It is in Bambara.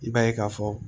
I b'a ye ka fɔ